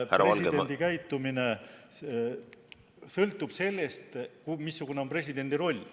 Presidendi käitumine sõltub sellest, missugune on presidendi roll.